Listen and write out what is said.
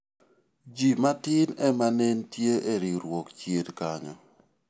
jii matin ema ne nitie e riwruok chien kanyo